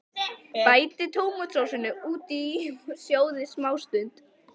Bætið tómatsósunni út í og sjóðið smástund.